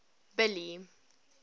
billy